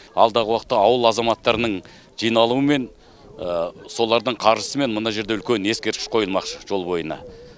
алдағы уақытта ауыл азаматтарының жиналуымен солардың қаржысымен мына жерде үлкен ескерткіш қойылмақшы жол бойына